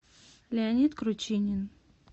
леонид кручинин